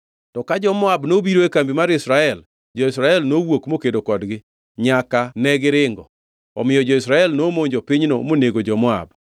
To ka jo-Moab nobiro e kambi mar Israel; jo-Israel nowuok mokedo kodgi nyaka negiringo. Omiyo jo-Israel nomonjo pinyno monego jo-Moab.